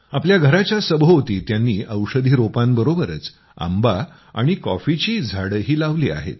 आपल्या घराच्या सभोवती त्यांनी औषधी रोपांबरोबरच आंबा आणि कॉफीची झाडंही लावली आहेत